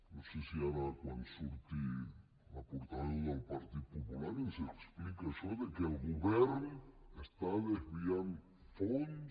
no sé si ara quan surti la portaveu del partit popular ens explica això de que el govern està desviant fons